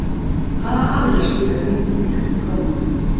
hvaða aðilar stýra gengi íslensku krónunnar